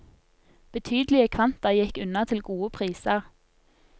Betydelige kvanta gikk unna til gode priser.